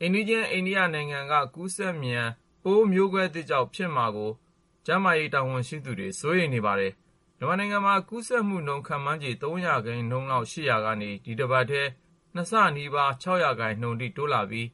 အိမ်နီးချင်း အိန္ဒိယနိုင်ငံက ကူးစက်မြန် ပိုးမျိုးကွဲသစ်ကြောင့် ဖြစ်မှာကို ကျန်းမာရေး တာဝန်ရှိသူတွေ စိုးရိမ်နေပါတယ်။ မြန်မာနိုင်ငံမှာ ကူးစက်မှုနှုန်း ခန့်မှန်းချေ ၃ ရာခိုင်နှုန်းလောက် ရှိနေရာကနေ ဒီတပတ်ထဲမှာ ၂ ဆနီးပါး ၆ ရာခိုင်နှုန်းလောက်အထိ တိုးလာခဲ့ပြီး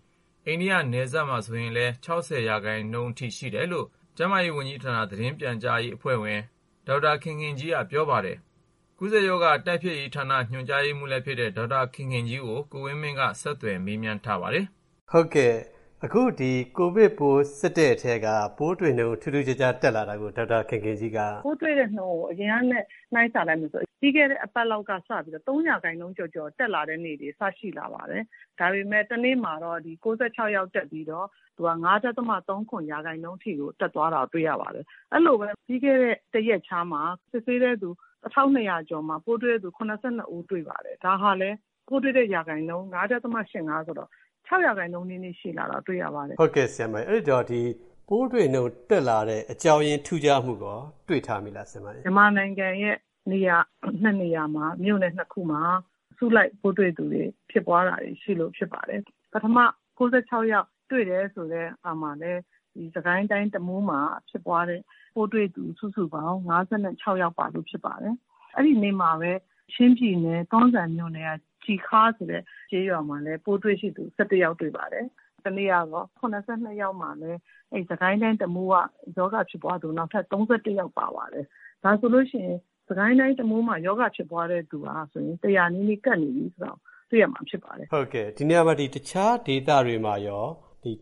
အိန္ဒိယနိုင်ငံ နယ်စပ်မှာဆိုရင်လည်း ၆၀ ရာခိုင်နှုန်းအထိ ရှိခဲ့တယ်လို့ ကျန်းမာရေးဝန်ကြီးဌာန သတင်းပြန်ကြားရေး အဖွဲ့ဝင် ဒေါက်တာခင်ခင်ကြီးက ပြောပါတယ်။ ကူးစက်ရောဂါတိုက်ဖျက်ရေးဌာန ညွှန်ကြားရေးမှူးလည်းဖြစ်တဲ့ ဒေါက်တာခင်ခင်ကြီးကို ကိုဝင်းမင်းက ဆက်သွယ်မေးမြန်း တင်ပြထားပါတယ်။ အခု ကိုဗစ်ပိုး စစ်တဲ့အထဲက ပိုးတွေ့နှုန်း ထူးထူးခြားခြား တက်လာတာကို ဒေါက်တာခင်ခင်ကြီးက “ပိုးတွေ့တဲ့နှုန်းကို အရင်ကနဲ့ နှိုင်းဆလိုက်ရင် ပြီးခဲ့တဲ့အပတ်လောက်က စပြီးတော့ ၃ ရာခိုင်နှုန်းကျော်ကျော် တက်လာတဲ့နေ့တွေ စရှိလာပါတယ်။ ဒါပေမယ့် တနေ့မှာတော့ ၉၆ ယောက် တက်ပြီးတော့ ၅.၃၇ ရာခိုင်နှုန်းအထိ တက်သွားတာကို တွေ့ရပါတယ်။ အဲဒီလိုပဲ ပြီးခဲ့တဲ့ တရက်ခြားမှာ စစ်ဆေးတဲ့သူ ၁,၂၀၀ ကျော်မှာ ပိုးတွေ့တဲ့သူ ၇၂ ဦး တွေ့ပါတယ်။ ဒါလည်း ပိုးတွေ့တဲ့ ရာခိုင်နှုန်း ၅.၈၅ ဆိုတော့ ၆ ရာခိုင်နှုန်းနီးနီး ရှိလာတာ တွေ့ရပါတယ်။” လို့ ပြောပါတယ်။ အဲ့ဒီတော့ ပိုးတွေ့နှုန်းတက်လာတဲ့ အကြောင်းရင်း ထူးခြားမှုရော တွေ့ထားမိလား။ “မြန်မာနိုင်ငံရဲ့ နေရာ ၂ နေရာမှာ မြို့နယ် ၂ ခုမှာ အစုလိုက် ပိုးတွေ့သူတွေ ဖြစ်ပွားတာတွေရှိလို့ ဖြစ်ပါတယ်။ ပထမ ၉၆ ယောက်တွေ့တယ်ဆိုတဲ့ ဟာမှာလည်း စစ်ကိုင်းတိုင်း တမူးမှာဖြစ်ပွားတဲ့ ပိုးတွေ့သူ စုစုပေါင်း ၅၆ ယောက်ပါလို့ ဖြစ်ပါတယ်။ အဲဒီနေ့မှာပဲ ချင်းပြည်နယ် တွန်းဇံမြို့နယ်က ကျည်ခါးဆိုတဲ့ ကျေးရွာမှာလည်း ပိုးတွေ့ရှိသူ ၁၁ ယောက်တွေ့ပါတယ်။ တနေ့က ၇၂ ယောက်မှာလည်း စစ်ကိုင်းတိုင်း တမူးက ရောဂါဖြစ်ပွားသူ နောက်ထပ် ၃၁ ယောက် ပါပါတယ်။ ဒါဆိုရင် စစ်ကိုင်းတိုင်း တမူးမှာ ရောဂါဖြစ်ပွားတဲ့သူက ၁၀၀ နီးနီးကပ်နေပြီဆိုတာ တွေ့ရမှာ ဖြစ်ပါတယ်။” ဒီနေရာမှာ တခြားဒေသတွေမှာရော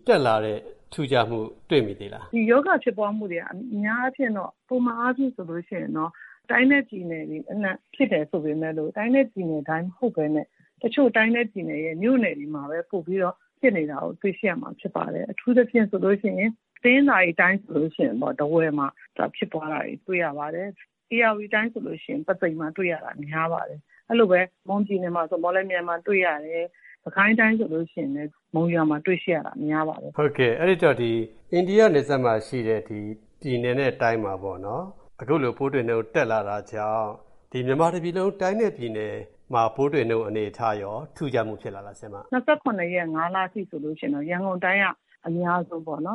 တက်လာတဲ့ ထူးခြားမှု တွေ့မိသေးလား။ “ရောဂါဖြစ်ပွားမှုတွေက အများအားဖြင့်တော့ ပုံမှန်အားဖြင့်ဆိုရင်တော့ တိုင်းနဲ့ပြည်နယ်တွေအနှံ့ ဖြစ်တယ်ဆိုပေမယ့် တိုင်းနဲ့ပြည်နယ်တိုင်း မဟုတ်ဘဲနဲ့ တချို့တိုင်းနဲ့ပြည်နယ်ရဲ့ မြို့နယ်တွေမှာပဲ ပိုပြီးတော့ ဖြစ်နေတာကို တွေ့ရှိရမှာ ဖြစ်ပါတယ်။ အထူးသဖြင့် တနင်္သာရီတိုင်းဆိုရင် ထားဝယ်မှာ ဖြစ်ပွားတာတွေ တွေ့ရပါတယ်။ ဧရာဝတီတိုင်းဆိုရင် ပုသိမ်မှာ တွေ့ရတာ များပါတယ်။ အဲလိုပဲ မွန်ပြည်နယ်မှာဆို မော်လမြိုင်မှာ တွေ့ရတယ်။ စစ်ကိုင်းတိုင်းဆိုရင် မုံရွာမှာ တွေ့ရှိရတာ များပါတယ်။” အဲဒီတော့ အိန္ဒိယနယ်စပ်မှာရှိတဲ့ ပြည်နယ်နဲ့တိုင်းမှာ အခုလို ပိုးတွေ့နှုန်း တက်လာတာကြောင့် မြန်မာတပြည်လုံး တိုင်းနဲ့ပြည်နယ်မှာ ပိုးတွေ့နှုန်း အနေအထားရော ထူးခြားမှုဖြစ်လာလား။ “၂၇ ရက် ၅ လအထိဆိုရင်တော့ ရန်ကုန်တိုင်းက အများဆုံးပေါ့။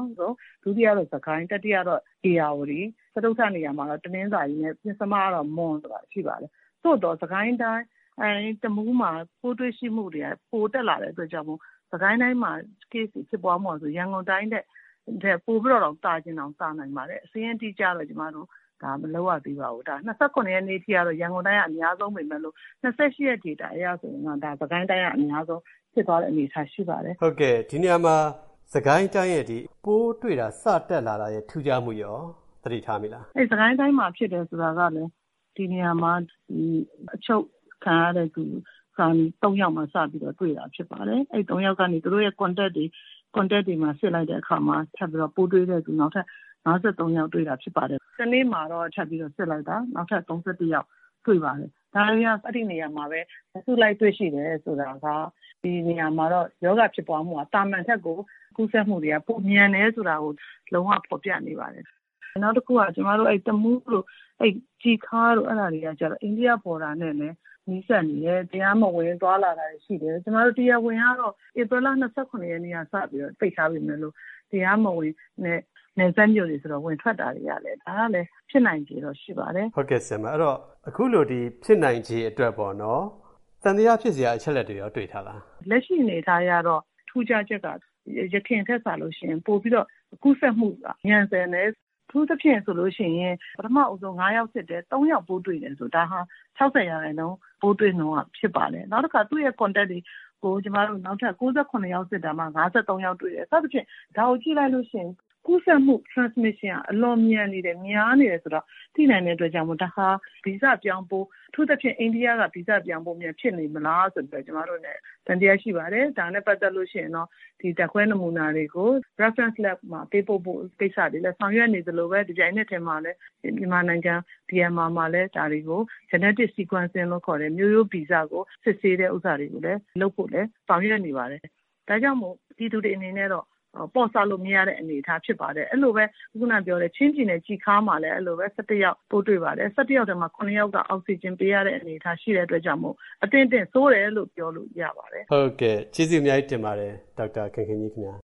ဒုတိယက စစ်ကိုင်း၊ တတိယက ဧရာဝတီ၊ စတုတ္ထနေရာမှာ တနင်္သာရီနဲ့ ပဉ္စမတော့ မွန် ရှိနေပါတယ်။ သို့သော် စစ်ကိုင်းတိုင်း တမူးမှာ ပိုးတွေ့ရှိမှုတွေက ပိုတက်လာတဲ့အတွက် စစ်ကိုင်းတိုင်းမှာ Case တွေ ဖြစ်ပွားမှုက ရန်ကုန်တိုင်းထက် ပိုပြီးတော့ သာချင်တောင် သာနိုင်ပါတယ်။ စာရင်းအတိအကျတော့ ကျမတို့ မလုပ်ရသေးပါဘူး။ ၂၇ ရက်နေ့အထိကတော့ ရန်ကုန်တိုင်းက အများဆုံးပေမယ့် ၂၈ ရက် ဒေတာအရဆိုရင်တော့ စစ်ကိုင်းတိုင်းက အများဆုံးဖြစ်သွားတဲ့ အနေအထား ရှိပါတယ်။” ဒီနေရာမှာ စစ်ကိုင်းတိုင်းရဲ့ ပိုးတွေ့တာ စတက်လာတာရဲ့ ထူးခြားမှုရော “စစ်ကိုင်းတိုင်းမှာဖြစ်တယ် ဆိုတာကလည်း ဒီနေရာမှာ အချုပ်ခံရတဲ့သူ ၃ ယောက်မှာ စပြီးတွေ့တာ ဖြစ်ပါတယ်။ အဲဒီ ၃ ယောက်ကနေ သူတို့ရဲ့ Contact တွေ စစ်လိုက်တဲ့အခါမှာ နောက်ထပ် ပိုးတွေ့တဲ့သူ ၅၃ ယောက်တွေ့တာ ဖြစ်ပါတယ်။ တနေ့မှာတော့ ထပ်စစ်လိုက်တာ နောက်ထပ် ၃၁ ယောက် တွေ့ပါတယ်။ ဒါတွေက အဲဒီနေရာမှာပဲ အစုလိုက်တွေ့ရှိတယ် ဆိုတာက ဒီနေရာမှာ ရောဂါဖြစ်ပွားမှုက သာမန်ထက်ကို ကူးစက်မှုတွေက ပိုမြန်တယ်ဆိုတာကို လုံးဝ ဖော်ပြနေပါတယ်။ နောက်တခုက တမူးတို့ ကျည်ခါးတို့ အဲဒီနေရာတွေက အိန္ဒိယ Border နဲ့လည်း နီးစပ်နေတယ်၊ တရားမဝင် သွားလာတာတွေ ရှိတယ်။ တရားဝင်ကတော့ ဧပြီလ ၂၇ ရက်ကစပြီးတော့ ပိတ်ထားပေမယ့် တရားမဝင်တဲ့ နယ်စပ်မြို့တွေဆိုတော့ ဝင်ထွက်တာတွေကလည်း ဖြစ်နိုင်ချေတော့ ရှိပါတယ်။” အခုလို ဖြစ်နိုင်ချေအတွက် သံသယဖြစ်စရာ အချက်အလက်တွေရော တွေ့ထားလား။ “လက်ရှိအနေအထားအရတော့ ထူးခြားချက်က အရင်ထက်စာလို့ရှိရင် ပိုပြီးတော့ ကူးစက်မှုက မြန်ဆန်တယ်။ အထူးသဖြင့်ဆို ပထမ ၅ ယောက်စစ်တယ်၊ ၃ ယောက်ပိုးတွေ့တယ်ဆိုတော့ ဒါ ၆၀ ရာခိုင်နှုန်း ပိုးတွေ့နှုန်း ဖြစ်ပါတယ်။ နောက်ထပ် သူ့ရဲ့ Contact တွေ ၉၇ ယောက် စစ်တာမှာ ၅၃ ယောက်တွေ့တယ်။ စသဖြင့် ဒါကိုကြည့်လိုက်ရင် ကူးစက်မှု Transmission က အလွန်မြန်နေတယ်၊ များနေတယ်ဆိုတာ သိနိုင်တဲ့အတွက် ဒါဟာ ဗီဇပြောင်းပိုး၊ အထူးသဖြင့် အိန္ဒိယက ဗီဇပြောင်းပိုးများ ဖြစ်နေမလားဆိုပြီးတော့ ကျမတို့အနေနဲ့ သံသယရှိပါတယ်။ ဒါနဲ့ပတ်သက်လို့ရှိရင် ဓာတ်ခွဲနမူနာတွေကို Reference Lab မှာ ပေးပို့ဖို့ကိစ္စတွေ ဆောင်ရွက်နေသလိုပဲ တပြိုင်နက်တည်းမှာလည်း မြန်မာနိုင်ငံ DMR မှာလည်း Genetic Sequencing လို့ခေါ်တဲ့ မျိုးရိုးဗီဇ စစ်ဆေးတဲ့ဟာတွေ လုပ်ဖို့လည်း ဆောင်ရွက်နေပါတယ်။ ဒါကြောင့်မို့ ပြည်သူတွေအနေနဲ့တော့ ပေါ့ဆလို့မရတဲ့ အနေအထား ဖြစ်ပါတယ်။ အဲလိုပဲ ချင်းပြည်နယ် ကျည်ခါးမှာလည်း ၁၁ ယောက် ပိုးတွေ့ပါတယ်။ ၁၁ ယောက်ထဲမှာ ၇ ယောက်က အောက်ဆီဂျင်ပေးရတဲ့ အနေအထား ရှိတဲ့အတွက် အသင့်အတင့် ဆိုးတယ်လို့ ပြောလို့ရပါတယ်။” ဟုတ်ကဲ့၊ ကျေးဇူးအများကြီးတင်ပါတယ် ဒေါက်တာခင်ခင်ကြီးခင်ဗျာ